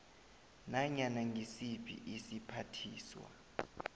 nanyana ngisiphi isiphathiswa